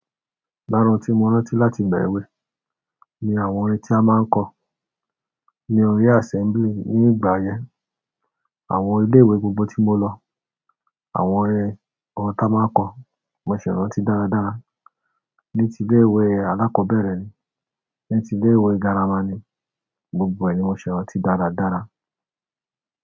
Lára ohùn tí mo rántí láti ìgbà èwe, ni àwọn orin tí a máa ń kọ ní orí assembly ní ìgbà yẹn. Àwọn ilé-ìwé gbogbo tí mo lọ, àwọn orin ta máa nkọ̀ mo ṣi ràntí dáradára. Ni ti ilé ìwé alákọ̀ọ́bẹ̀rẹ̀ ni, ni ti ilé ìwé girama ni, gbogbo ẹ̀ ni mo ṣẹ̀ràn tí dáradára.